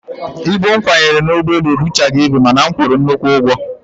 Ibu m kwanyere n'ụgbọelu ebuchaghị ibu mana a kwụrụ m nnukwu ụgwọ